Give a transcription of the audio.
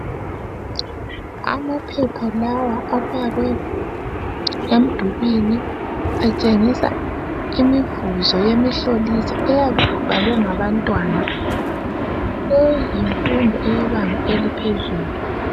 Amaphepha lawa afakwe emdulini atshengisa imivuzo yemihloliso eyabe ibhalwe ngabantwana eyezifundo yebanga eliphezulu